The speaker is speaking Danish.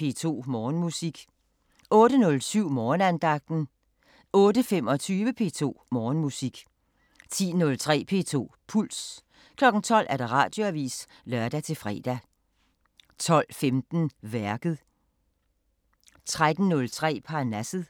P2 Morgenmusik 08:07: Morgenandagten 08:25: P2 Morgenmusik 10:03: P2 Puls 12:00: Radioavisen (lør-fre) 12:15: Værket 13:03: Parnasset